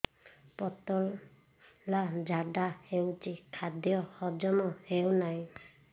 ପତଳା ଝାଡା ହେଉଛି ଖାଦ୍ୟ ହଜମ ହେଉନାହିଁ